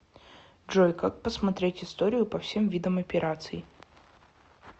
джой как посмотреть историю по всем видам операций